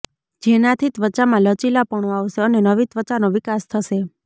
જેનાથી ત્વચામાં લચીલાપણું આવશે અને નવી ત્વચાનો વિકાસ થશે